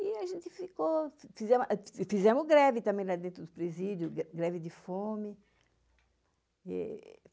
E a gente ficou... Fizemos greve também lá dentro do presídio, greve de fome.